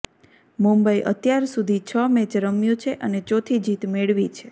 મુંબઈ અત્યાર સુધી છ મેચ રમ્યું છે અને ચોથી જીત મેળવી છે